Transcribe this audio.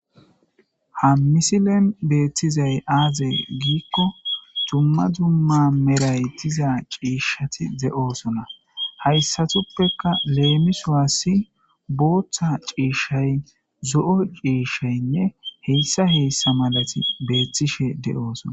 ha misilen beettizay aazey giikko tumma dzumma meray tiza ciishshati de7oosona hayssatuppeka leemiswaassi booththa ciishshay zo7o ciishshaynne heyssa heessa malati beethtishe de7oosona